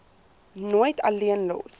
nooit alleen los